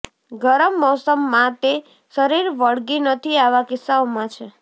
ગરમ મોસમ માં તે શરીર વળગી નથી આવા કિસ્સાઓમાં છે